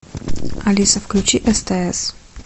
алиса включи стс